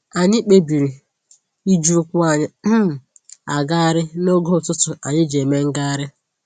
Anyị kpebiri iji ụkwụ anyị um agagharị n'oge ụtụtụ anyị ji eme ngagharị